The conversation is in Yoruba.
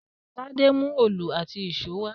Tádé mú òòlù àti ìṣó wá